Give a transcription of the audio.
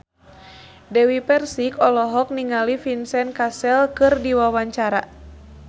Dewi Persik olohok ningali Vincent Cassel keur diwawancara